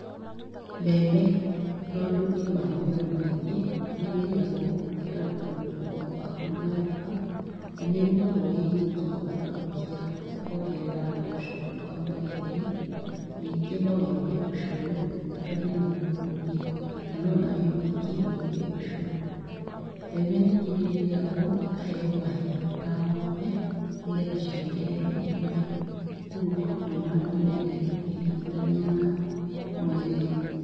Mbembe tondũ ĩ mahũthĩro maingĩ nĩ ĩthĩagwo ĩkaruta mũtu wa kũruga ngima na nĩ ĩrugagwo ĩ iki ũgatharũkia okongerera mboco ũkaruga gĩtheri ningĩ no ĩruge ũcũrũ ũtukanie na mũtu ũngi kana ona wĩ wiki ũruge ũcũrũ. Mbembe ningĩ nĩithiagwo ikaheo mahiũ ta ngombe nĩgetha ciongerere iria. Koguo mahũthĩro maya nĩmendetwo ũkĩringithania na mwere.